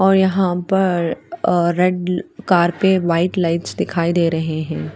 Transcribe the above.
और यहाँ पर रेड कार पे व्हाइट लाइट्स दिखाई दे रहे है।